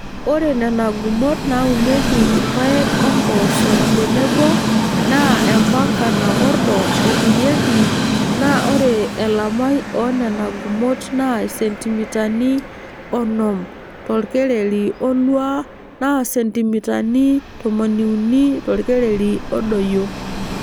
Ore Nena gumot naaunieki irpaek o mpoosho tenebo naa empanka nakordo eturieki naa ore elamai oo Nena gumot naa isentimitani onom torkereri oluaa naa isentimitani tomoniuni torkereri odoyio.